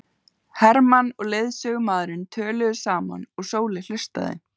Hermann og leiðsögumaðurinn töluðu saman og Sóley hlustaði.